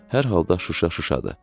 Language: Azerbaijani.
Hər halda Şuşa Şuşadır.